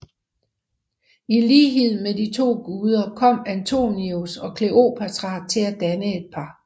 I lighed med de to guder kom Antonius og Kleopatra til at danne et par